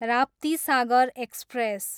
Raptisagar express